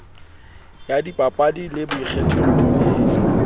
ya dipapadi le boikgathollo e